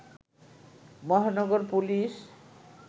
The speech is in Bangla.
মহানগর পুলিশ